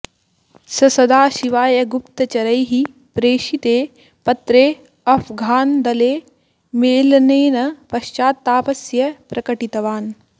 सः सदाशिवाय गुप्तचरैः प्रेषिते पत्रे अफ़्घान्दले मेलनेन पश्चात्तापस्य प्रकटितवान्